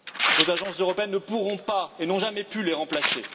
Vos agences européennes ne pourront pas et n'ont jamais pu les remplacer.